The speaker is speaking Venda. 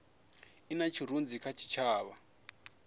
i na tshirunzi kha tshitshavha